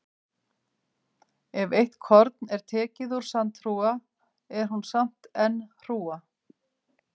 Ef eitt korn er tekið úr sandhrúga er hún samt enn hrúga.